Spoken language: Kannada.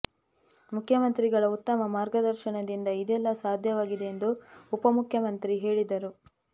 ಮುಖ್ಯಮಂತ್ರಿಗಳ ಉತ್ತಮ ಮಾರ್ಗದರ್ಶನದಿಂದ ಇದೆಲ್ಲ ಸಾಧ್ಯವಾಗಿದೆ ಎಂದು ಉಪ ಮುಖ್ಯಮಂತ್ರಿ ಹೇಳಿದರು